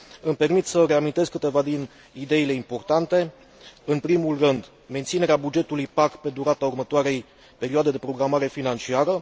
Îmi permit să reamintesc câteva din ideile importante, în primul rând menținerea bugetului PAC pe durata următoarei perioade de programare financiară.